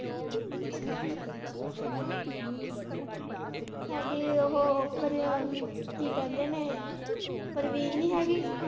ਸਾਡੇ ਉਹ ਉਪਰ ਕੀ ਕਹਿੰਦੇ ਨੇ ਪ੍ਰਵੀਨ ਨੀ ਹੈਗੀ।